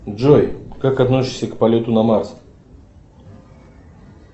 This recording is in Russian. джой как относишься к полету на марс